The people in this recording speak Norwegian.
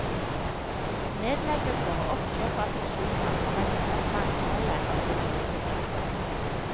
Nedleggelser, oppkjøp og fusjoner har redusert mangfoldet av bryggeribedrifter.